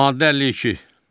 Maddə 52.